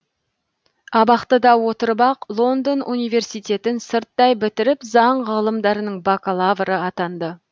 абақтыда отырып ақ лондон университетін сырттай бітіріп заң ғылымдарының бакалавры атанды